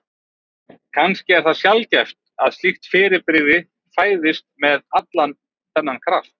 Kannski er það sjaldgæft að slíkt fyrirbrigði fæðist með allan þennan kraft.